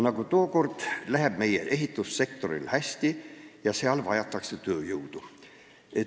Nagu tookord, läheb ka nüüd meie ehitussektoril hästi ja seal vajatakse tööjõudu.